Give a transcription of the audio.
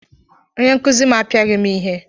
Onye nkuzi m apiaghị m ihe.